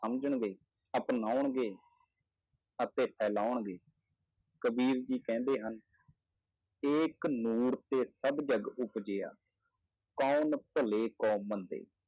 ਸਮਝਣਗੇ ਅਪਨਾਉਣਗੇ ਅਤੇ ਫੈਲਾਉਣਗੇ, ਕਬੀਰ ਜੀ ਕਹਿੰਦੇ ਹਨ ਏਕ ਨੂਰ ਤੇ ਸਭ ਜਗ ਉਪਜਿਆ ਕਉਣ ਭਲੇ ਕੋ ਮੰਦੇ,